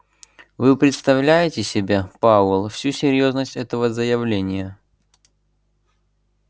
вы представляете себе пауэлл всю серьёзность этого заявления